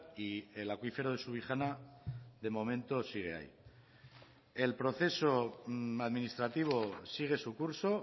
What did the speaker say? y el acuífero de subijana de momento sigue ahí el proceso administrativo sigue su curso